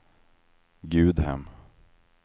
Gudhem